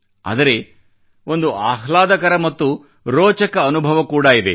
ಆದರೆ ಒಂದು ಆಹ್ಲಾದಕರ ಮತ್ತು ರೋಚಕ ಅನುಭವ ಕೂಡಾ ಇದೆ